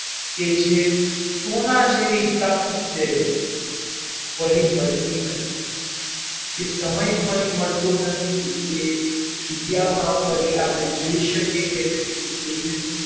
કે જે સોના જેવી તક છે ફરી મળતી નથી એ સમય ફરી મળતો નથી એ જગ્યામાં ફરી આપડે જઈ શકીએ કે નહીં તે કોઈને